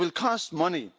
It will cost money.